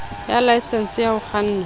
ya laesense ya ho kganna